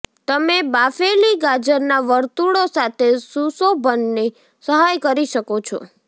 તમે બાફેલી ગાજરના વર્તુળો સાથે સુશોભનની સહાય કરી શકો છો